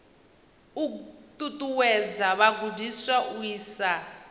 u ṱuṱuwedza vhagudiswa u isa